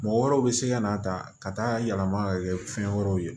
Mɔgɔ wɛrɛw bɛ se ka na ta ka taa yɛlɛma ka kɛ fɛn wɛrɛw ye